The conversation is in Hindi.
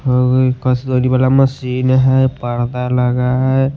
हो गई कस्तूरी वाला मशीन है पर्दा लगा है।